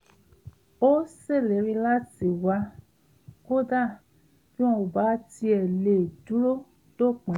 ó ṣèlérí láti wá kódà bí wọn ò bá tiẹ̀ lè dúró dópin